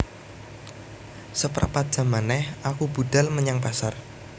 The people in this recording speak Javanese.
Seprapat jam meneh aku budhal menyang pasar